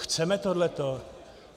Chceme tohleto?